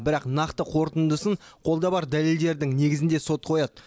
бірақ нақты қорытындысын қолда бар дәлелдердің негізінде сот қояды